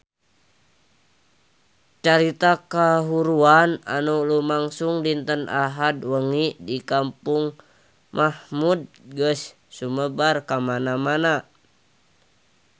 Carita kahuruan anu lumangsung dinten Ahad wengi di Kampung Mahmud geus sumebar kamana-mana